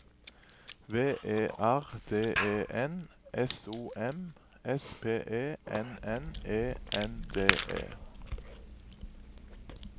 V E R D E N S O M S P E N N E N D E